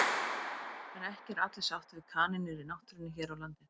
En ekki eru allir sáttir við kanínur í náttúrunni hér á landi.